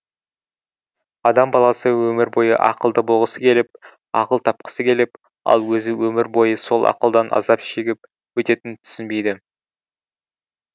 адам баласы өмір бойы ақылды болғысы келіп ақыл тапқысы келіп ал өзі өмір бойы сол ақылдан азап шегіп өтетінін түсінбейді